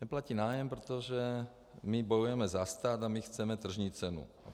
Neplatí nájem, protože my bojujeme za stát a my chceme tržní cenu.